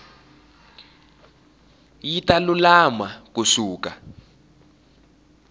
yi ta lulama ku suka